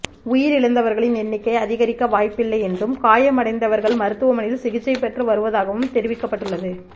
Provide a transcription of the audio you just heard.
உயிரிழந்தவர்களின் எண்ணிக்கை அதிகரிக்க வாய்ப்பில்லை என்றும் காயமடைந்தவர்கள் மருத்துவமனையில் சிகிச்சை பெற்று வருவதாகவும் தெரிவிக்கப்பட்டுள்ளது